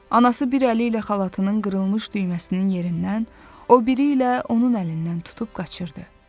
Anası bir əli ilə xalatının qırılmış düyməsinin yerindən, o biri ilə onun əlindən tutub qaçırdı.